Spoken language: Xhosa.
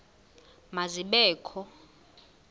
ma zibe kho